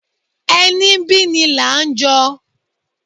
Ení bí ní la ń jọ